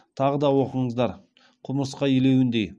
тағы да оқыңыздар құмырсқа илеуіндей